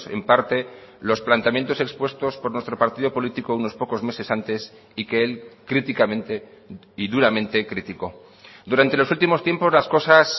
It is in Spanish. en parte los planteamientos expuestos por nuestro partido político unos pocos meses antes y que él críticamente y duramente criticó durante los últimos tiempos las cosas